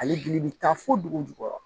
Ale gili bɛ taa fo dugu jukɔrɔ